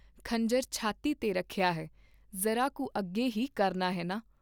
ਖੰਜਰ ਛਾਤੀ ਤੇ ਰੱਖਿਆ ਹੈ, ਜ਼ਰਾ ਕੁ ਅੱਗੇ ਹੀ ਕਰਨਾ ਹੈ ਨਾ।